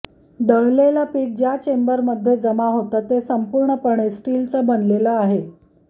दळलेलं पिठ ज्या चेंबरमध्ये जमा होतं ते संपूर्णपणे स्टीलचं बनलेलं आहे